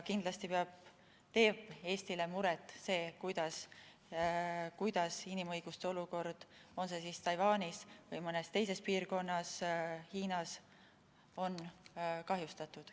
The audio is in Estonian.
Kindlasti teeb Eestile muret see, kuidas on inimõiguste olukord, on see siis Taiwanis või mõnes teises piirkonnas, Hiinas kahjustatud.